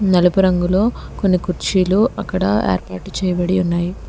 నలుపు రంగులో కొన్ని కుర్చీలు అక్కడ యార్పాటు చేయబడి ఉన్నాయి.